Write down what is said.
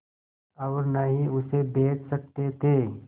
और न ही उसे बेच सकते थे